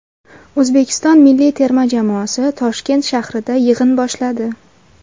O‘zbekiston milliy terma jamoasi Toshkent shahrida yig‘in boshladi.